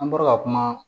An bɔra ka kuma